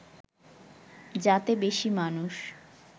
যাতে বেশি মানুষ